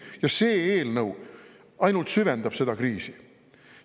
Ja see eelnõu ainult süvendab seda kriisi.